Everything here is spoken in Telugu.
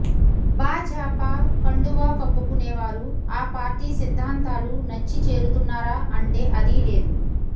భాజాపా కండువా కప్పుకునేవారు ఆ పార్టీ సిద్దాంతాలు నచ్చి చేరుతున్నారా అంటే అదీ లేదు